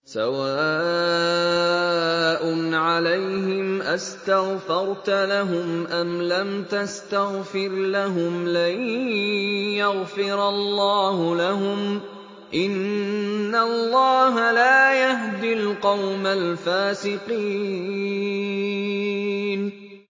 سَوَاءٌ عَلَيْهِمْ أَسْتَغْفَرْتَ لَهُمْ أَمْ لَمْ تَسْتَغْفِرْ لَهُمْ لَن يَغْفِرَ اللَّهُ لَهُمْ ۚ إِنَّ اللَّهَ لَا يَهْدِي الْقَوْمَ الْفَاسِقِينَ